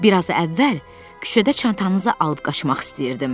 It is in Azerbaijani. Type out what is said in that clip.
Bir az əvvəl küçədə çantanızı alıb qaçmaq istəyirdim.